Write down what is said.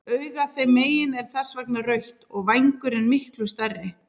Augað þeim megin er þess vegna rautt og vængurinn miklu stærri.